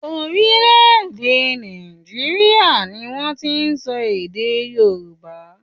Orílẹ̀-èdè Nàìjíríà ni wọ́n ti ń sọ èdè Yorùbá.